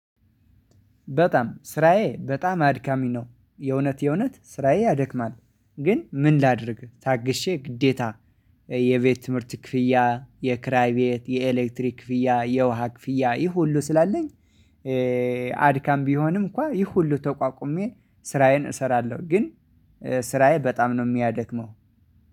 በጣም ስራዬ በጣም አድካሚ ነ፤ የእውነት የእውነት ስራዬ ያደክማል፤ ግን ምን ላድርግ ታግሼ ግዴታ የቤት፣ ትምህርት ክፍያ፣ የክራይ ቤት፣ የኤሌክትሪክ ክፍያ፣ የውሃ ክፍያ ይህ ሁሉ ስላለኝ አድካም ቢሆንም እንኳን ይህ ሁሉ ተቋቁሜ ስራዬን እሰራለሁ ግን ስራዬ በጣም ነው የሚያደክመው።